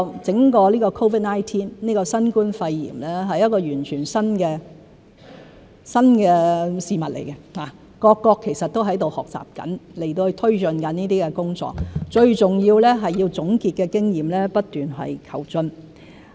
整個 COVID-19、新冠肺炎，是全新的事物，各國其實都在學習中，同時推進抗疫工作，最重要的是要總結經驗，不斷求進。